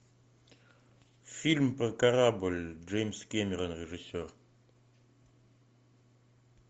фильм про корабль джеймс кэмерон режиссер